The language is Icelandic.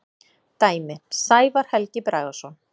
Dæmi: Sævar Helgi Bragason.